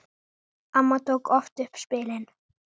Amma tók oft upp spilin.